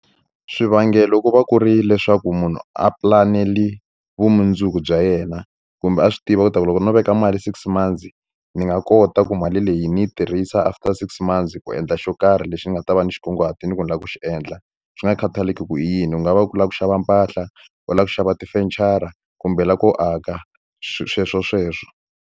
Swivangelo ku va ku ri leswaku munhu a pulanele vumundzuku bya yena kumbe a swi tiva ku ta ku loko no veka mali six months ni nga kota ku mali leyi ni yi tirhisa after six months ku endla xo karhi lexi ni nga ta va ni xi kunguhatile ku ni lava ku xi endla swi nga khathaleki ku hi yini u nga va ku lava ku xava mpahla u lava ku xava tifenichara kumbe u lava ku aka sweswo sweswo.